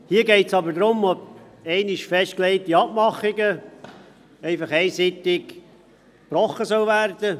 Hier geht es aber darum, ob einmal getroffene Abmachungen einseitig gebrochen werden.